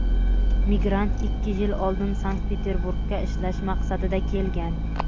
migrant ikki yil oldin Sankt-Peterburgga ishlash maqsadida kelgan.